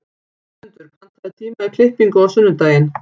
Guðmundur, pantaðu tíma í klippingu á sunnudaginn.